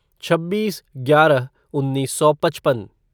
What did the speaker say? छब्बीस ग्यारह उन्नीस सौ पचपन